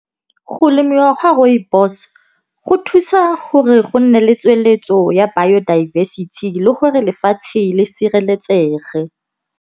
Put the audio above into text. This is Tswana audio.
Go lemiwa ga rooibos go thusa gore go nne le tsweletso ya biodiversity le gore lefatshe le sireletsege.